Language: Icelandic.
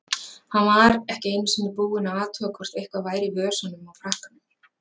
Hann var ekki einu sinni búinn að athuga hvort eitthvað væri í vösunum á frakkanum.